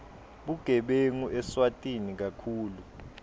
bugebengu eswatini kakhulu